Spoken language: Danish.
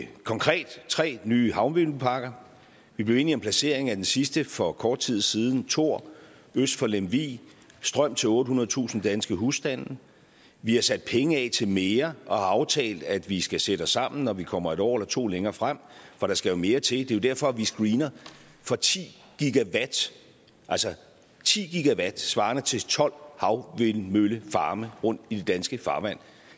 konkret tre nye havvindmølleparker vi blev enige om placeringen af den sidste for kort tid siden thor øst for lemvig strøm til ottehundredetusind danske husstande vi har sat penge af til mere og har aftalt at vi skal sætte os sammen når vi kommer et år eller to længere frem for der skal mere til det er jo derfor vi screener for ti gigawatt altså ti gigawatt svarende til tolv havvindmøllefarme rundt i det danske farvand